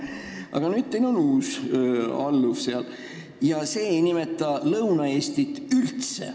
Aga nüüd on teil seal uus alluv ja tema ei nimeta Lõuna-Eestit üldse.